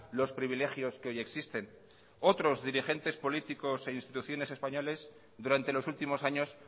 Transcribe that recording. los privilegios que hoy existen otros dirigentes políticos e instituciones españoles durante los últimos años